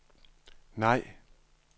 nej